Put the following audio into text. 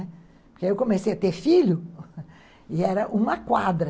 Porque aí eu comecei a ter filho e era uma quadra.